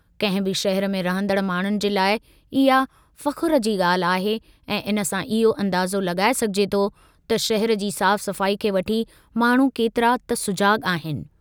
कंहिं बि शहरु में रहंदड़ माण्हुनि जे लाइ इहा फ़ख़ुरु जी ॻाल्हि आहे ऐं इन सां इहो अंदाज़ो लॻाए सघिजे थो त शहर जी साफ़-सफ़ाई खे वठी माण्हू केतिरा त सुजाॻु आहिनि।